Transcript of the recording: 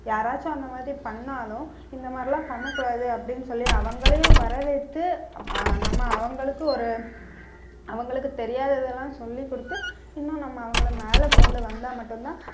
யாராச்சும் அந்த மாதிரி பண்ணாலும் இந்த மாதிரி எல்லாம் பண்ண கூடாது அப்படின்னு சொல்லி அவங்களையும் வரவேற்று, அப்~ அஹ் நம்ம அவங்களுக்கு ஒரு அவங்களுக்கு தெரியாததெல்லாம் சொல்லிக் கொடுத்து இன்னும் நம்ம அவங்களை மேல கொண்டு வந்தா மட்டும்தான்